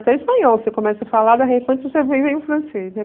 Até espanhol você começa a falar, em francês, né?